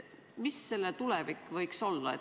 Milline võiks olla selle tulevik?